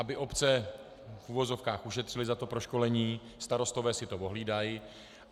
Aby obce v uvozovkách ušetřily za to proškolení, starostové si to ohlídají.